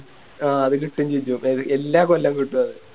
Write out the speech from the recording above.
ആ അത് കിട്ടുവേം ചെയ്തി അപ്പൊ അത് എല്ലാ കൊല്ലം കിട്ടു അത്